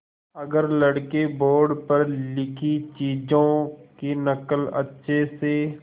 अगर लड़के बोर्ड पर लिखी चीज़ों की नकल अच्छे से